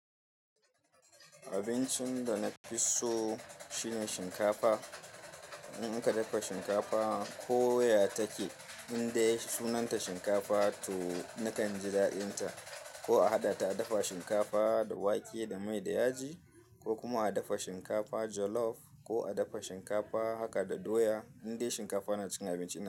Abincin da na fi so shine shinkafa. In aka dafa shinkafa ko ya take, inda sunanta shinkafa to nakan ji daɗinta. Ko a haɗa ta dafa shinkafa da wake da mai da yaji ko kuma a dafa shinkafa jollof ko a dafa shinkafa haka da doya indai shinkafa na cikin abinci na.